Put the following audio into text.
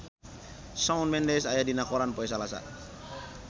Shawn Mendes aya dina koran poe Salasa